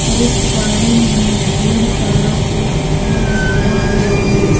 और इस गार्डन में ढेर सारा पेड़ पौध लगाया हुआ है।